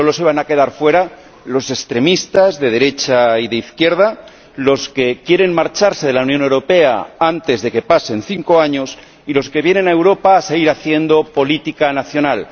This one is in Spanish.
Solo se van a quedar fuera los extremistas de derecha y de izquierda, los que quieren marcharse de la Unión Europea antes de que pasen cinco años y los que vienen a Europa a seguir haciendo política nacional.